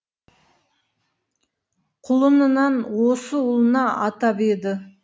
құлынынан осы ұлына атап еді